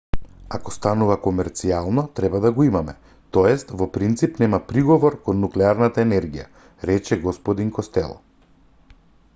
ако станува комерцијално треба да го имаме т.е. во принцип нема приговор кон нуклеарната енергија рече г костело